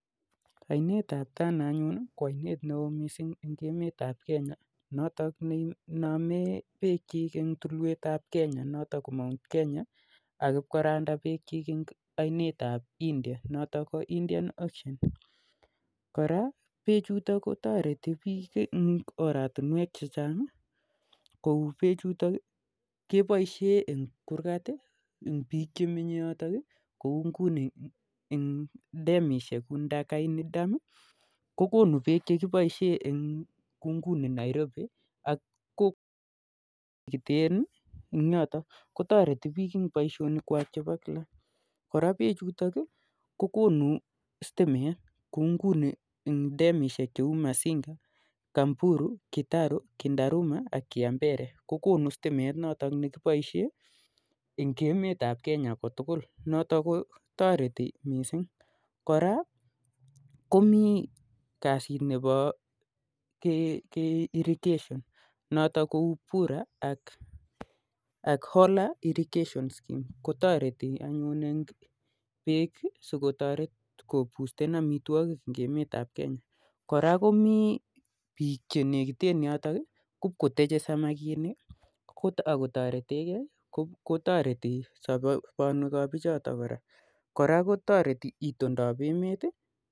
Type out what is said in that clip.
Ainet ab tana anyun ko ainet neoo mising eng emet ab Kenya notok neiname bek chick eng tulwet ab Mount Kenya akipkoranda been chiik eng ainetap india notok ko indian ocean koraa beek chutok kotareti biik eng oratinwek chechang kouu beek chutok keboishee eng kurkat eng biik chemenye yotok kouu ngunii eng demishek kuoo ndakaini dam kokonu beek chekiboishe eng Nairobi ak kowatunwek chenikitee yotok kotaretii biik eng bishonik kwaak chepo Kila koraa beek chutok kokonuu stimet kouu eng demishek cheuu masinga kindaruma csgitaru ak cskiwmbere kokonuu stimet nekiboishee eng emet ap kenya komugul koraa komii kazit nebo irrigation notok kouu bura ak hola irrigatiionscheme kotaretii eng bitunet ap amwitwakik eng emet ap kenya koraa komii biik chemenye yotok kopkoteje samakinik akotoretekee kotaretii soponwek ap biik chotok koraa kotoretii iitondop emet